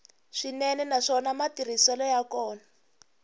swinene naswona matirhiselo ya kona